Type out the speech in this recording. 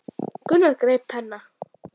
Þetta var skrýtið að heyra.